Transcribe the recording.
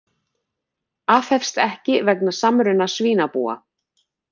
Aðhefst ekki vegna samruna svínabúa